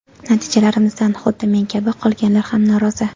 Natijalarimizdan xuddi men kabi qolganlar ham norozi.